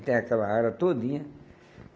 E tem aquela área todinha.